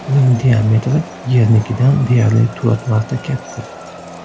Uning diametri Yernikidan deyarli to‘rt marta katta.